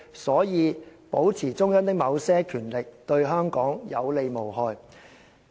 所以，保持中央的某些權力，對香港有利無害。